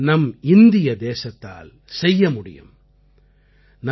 இதை நம் இந்திய தேசத்தால் செய்ய முடியும்